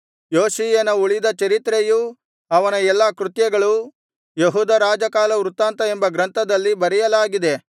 ಯೋಷೀಯನ ಉಳಿದ ಚರಿತ್ರೆಯೂ ಅವನ ಎಲ್ಲಾ ಕೃತ್ಯಗಳೂ ಯೆಹೂದ ರಾಜಕಾಲವೃತ್ತಾಂತ ಎಂಬ ಗ್ರಂಥದಲ್ಲಿ ಬರೆಯಲಾಗಿದೆ